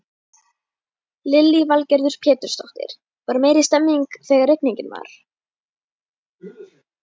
Lillý Valgerður Pétursdóttir: Var meiri stemmning þegar rigningin var?